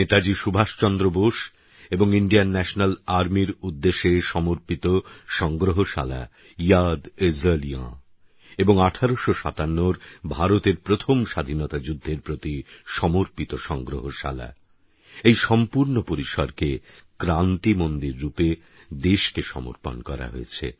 নেতাজী সুভাষচন্দ্র বোস এবং ইণ্ডিয়ান ন্যাশনাল আর্মির উদ্দেশে সমর্পিত সংগ্রহশালা ইয়াদএজলিয়াঁ এবং ১৮৫৭র ভারতের প্রথম স্বাধীনতা যুদ্ধের প্রতি সমর্পিত সংগ্রহশালাএই সম্পূর্ণ পরিসরকে ক্রান্তি মন্দির রূপে দেশকে সমর্পণ করা হয়েছে